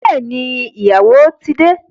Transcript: Bẹẹni, ìyàwó ti de